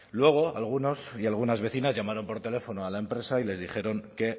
luego algunos y algunas vecinas llamaron por teléfono a la empresa y les dijeron que